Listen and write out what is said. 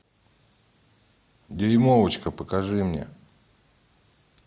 дюймовочка покажи мне